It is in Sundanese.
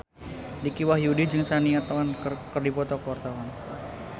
Dicky Wahyudi jeung Shania Twain keur dipoto ku wartawan